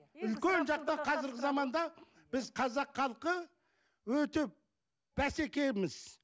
үлкен жақта қазіргі заманда біз қазақ халқы өте бәсекеміз